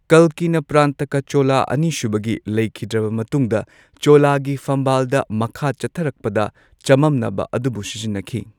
ꯀꯜꯀꯤꯅ ꯄ꯭ꯔꯥꯟꯇꯀꯥ ꯆꯣꯂꯥ ꯑꯅꯤꯁꯨꯕꯒꯤ ꯂꯩꯈꯤꯗ꯭ꯔꯕ ꯃꯇꯨꯡꯗ ꯆꯣꯂꯥꯒꯤ ꯐꯝꯕꯥꯜꯗ ꯃꯈꯥ ꯆꯠꯊꯔꯛꯄꯗ ꯆꯃꯝꯅꯕ ꯑꯗꯨꯕꯨ ꯁꯤꯖꯤꯟꯅꯈꯤ꯫